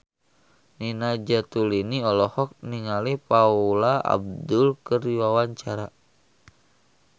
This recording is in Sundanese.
Nina Zatulini olohok ningali Paula Abdul keur diwawancara